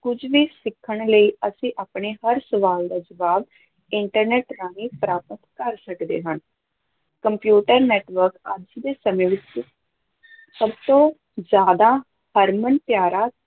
ਕੁਝ ਵੀ ਸਿੱਖਣ ਲਈ ਅਸੀ ਆਪਣੇ ਹਰ ਸਵਾਲ ਦਾ ਜਵਾਬ internet ਰਾਹੀਂ ਪ੍ਰਾਪਤ ਕਰ ਸਕਦੇ ਹਾਂ, ਕੰਪਿਊਟਰ network ਅੱਜ ਦੇ ਸਮੇਂ ਵਿੱਚ ਸਭ ਤੋਂ ਜ਼ਿਆਦਾ ਹਰਮਨ-ਪਿਆਰਾ,